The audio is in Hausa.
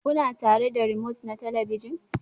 Kuna tare da remote na talabijin?